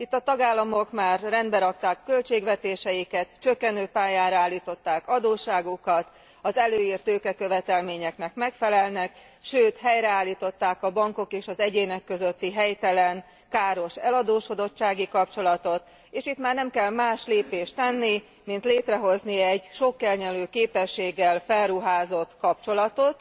Itt a tagállamok már rendbe rakták költségvetéseiket, csökkenő pályára állították adósságukat, az előírt tőkekövetelményeknek megfelelnek, sőt helyreállították a bankok és az egyének közötti helytelen, káros eladósodottsági kapcsolatot, és itt már nem kell más lépést tenni, mint létrehozni egy sokkelnyelő képességgel felruházott kapcsolatot,